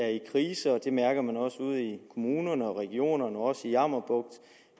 er i krise og det mærker man også ude i kommunerne og regionerne og også i jammerbugt